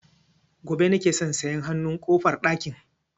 Gobe nake so na saya hanun ƙofar ɗakin